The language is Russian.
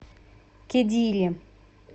кедири